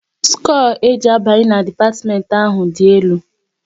Skoo e ji abanye na dipatiment ahụ dị elu